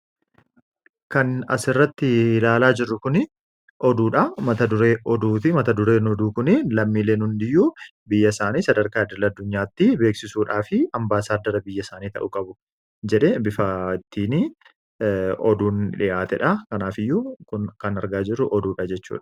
Kan asirratti ilaalaa jirru, oduudha. Mata dureen oduu kunii lammileen hundi iyyuu biyya isaanii sadarkaa idil addunyaatti beeksisuudhaaf ambaasaadara biyya isaanii ta'uu qabu jedhee bifa ittiin oduun dhihaatedha. Kanaaf iyyuu kan argaa jirru oduudha.